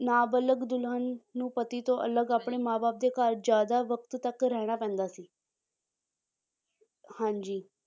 ਨਾਬਾਲਗ ਦੁਲਹਨ ਨੂੰ ਪਤੀ ਤੋਂ ਅਲੱਗ ਆਪਣੇ ਮਾਂ ਬਾਪ ਦੇ ਘਰ ਜ਼ਿਆਦਾ ਵਕਤ ਤੱਕ ਰਹਿਣਾ ਪੈਂਦਾ ਸੀ ਹਾਂਜੀ